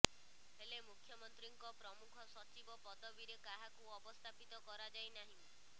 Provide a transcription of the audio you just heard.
ହେଲେ ମୁଖ୍ୟମନ୍ତ୍ରୀଙ୍କ ପ୍ରମୁଖ ସଚିବ ପଦବିରେ କାହାକୁ ଅବସ୍ଥାପିତ କରାଯାଇ ନାହିଁ